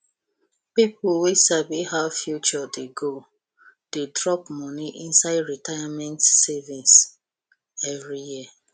people wey sabi how future dey go dey drop money inside retirement savings every year